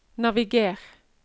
naviger